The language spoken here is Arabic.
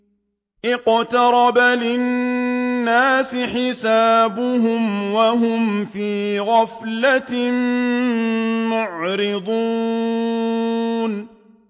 اقْتَرَبَ لِلنَّاسِ حِسَابُهُمْ وَهُمْ فِي غَفْلَةٍ مُّعْرِضُونَ